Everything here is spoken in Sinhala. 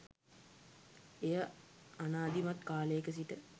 එය ආනාදිමත් කාලයක සිට